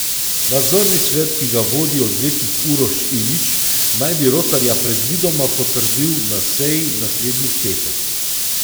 Nadzorni svet, ki ga vodi odvetnik Uroš Ilić, naj bi Rotarja predvidoma potrdil na seji naslednji petek.